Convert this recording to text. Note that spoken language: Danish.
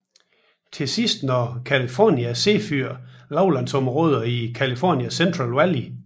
Til sidst når California Zephyr lavlandsområderne i California Central Valley